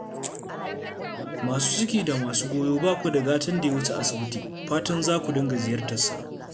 Masu ciki da masu goyo ba ku da gatan da ya wuce asibiti, fatan za ku dinga ziyartarsa